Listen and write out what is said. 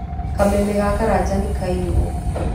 Kameme ga Karanja nĩkaiyũo.